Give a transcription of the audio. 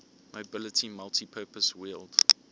mobility multipurpose wheeled